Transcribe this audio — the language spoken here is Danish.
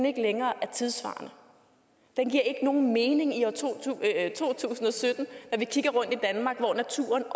ikke længere er tidssvarende den giver ikke nogen mening i år to tusind og sytten når vi kigger rundt i danmark hvor naturen